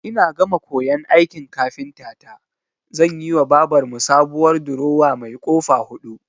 Ina gama koyan aikin kafintata zanyiwa babar mu sabuwar durowa mai ƙofa huɗu.